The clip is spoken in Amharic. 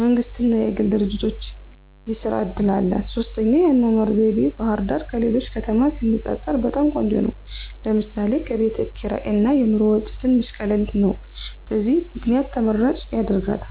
መንግስት እና የግል ድርጂቶች የስራ እድል አላት። 3, የአኗኗር ዘይቤ፦ ባህርዳር ከሌሎች ከተማ ሲነፃፀር በጣም ቆንጆ ነው ለምሳሌ፦ ከቤት ክርይ እና የኑሮ ወጪ ትንሽ ቀላል ነው። በዚህ ምክንያት ተመራጭ ያደርጋታል።